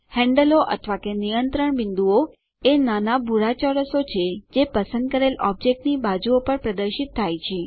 હેન્ડલો અથવા કે નિયંત્રણ બિંદુઓ એ નાના ભૂરાં ચોરસો છે જે પસંદ કરેલ ઑબ્જેક્ટની બાજુઓ પર પ્રદર્શિત થાય છે